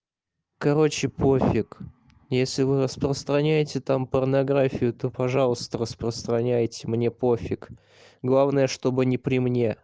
короче пофиг если вы распространяете там порнографию то пожалуйста распространяйте мне пофиг главное чтобы не при мне